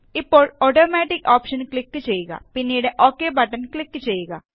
ഇപ്പോള് automatic option click ചെയ്യുക പിന്നീട് ഒക് ബട്ടണ് ക്ലിക് ചെയ്യുക